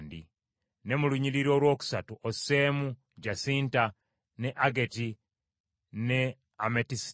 ne mu lunyiriri olwokusatu osseemu jasinta; ne ageti, ne ametisita,